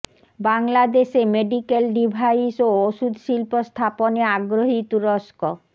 বাংলাদেশে medical device ও ওষুধ শিল্প স্থাপনে আগ্রহী তুরস্ক